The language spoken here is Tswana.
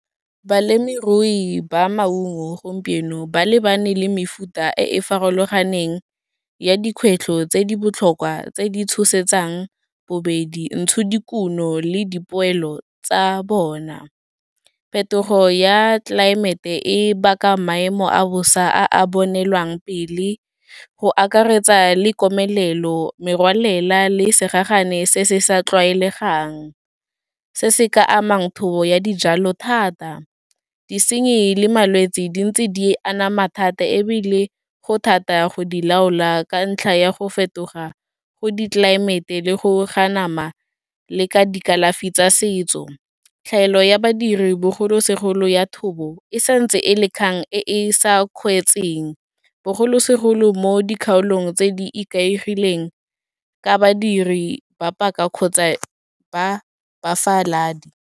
Balemirui ba maungo, gompieno ba lebane le mefuta e e farologaneng ya dikgwetlho tse di botlhokwa tse di tshosetsang bobedi, ntshodikuno le dipoelo tsa bona. Phetogo ya tlelaemete e baka maemo a bosa a a bonelwang pele, go akaretsa le komelelo, merwalela le segagane se se sa tlwaelegang, se se ka amang thobo ya dijalo thata. Disenyi le malwetse di ntse di anama thata ebile go thata go di laola, ka ntlha ya go fetoga go ditlelaemete le go anama le ka dikalafi tsa setso, tlhaelo ya badiri bogolosegolo ya thobo e santse e le kgang e e sa kgweetseng, bogolosegolo mo dikgaolong tse di ikaegileng ka badiri ba paka kgotsa ba bafaladi.